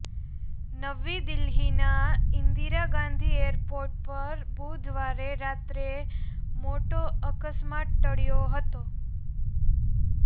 નવી દિલ્હીના ઇન્દિરા ગાંધી એરપોર્ટ પર બુધવારે રાત્રે મોટો અકસ્માત ટળ્યો હતો